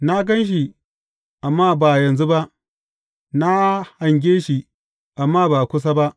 Na gan shi, amma ba yanzu ba; na hange shi, amma ba kusa ba.